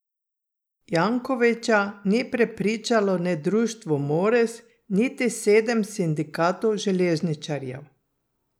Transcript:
Jankovića ni prepričalo ne Društvo Moris niti sedem sindikatov železničarjev.